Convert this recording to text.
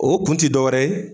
O kun ti dɔ wɛrɛ ye